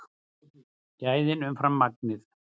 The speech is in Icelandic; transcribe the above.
Gæðin umfram magnið